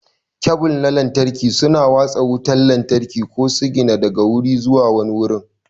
Kebul na lantarki suna watsa wutar lantarki ko sigina daga guri zuwa wani gurin.